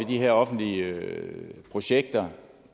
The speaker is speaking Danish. de her offentlige projekter